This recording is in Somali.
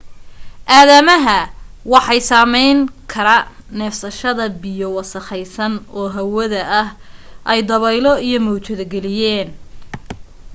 aadamaha waxay saameyn kara neefsashada biyo wasakhaysan oo hawada ay dabaylo iyo mawjado geliyeen